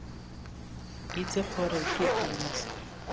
itse gore ke eng se